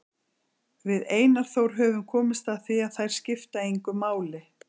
Við Einar Þór höfum komist að því að þær skipta engu máli.